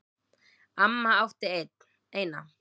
Amma átti eina.